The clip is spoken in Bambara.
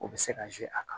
O bɛ se ka a kan